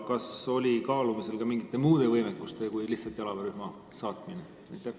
Kas oli kaalumisel ka mingite muude võimekuste kui lihtsalt jalaväerühma saatmine?